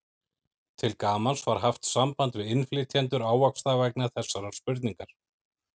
Til gamans var haft samband við innflytjendur ávaxta vegna þessarar spurningar.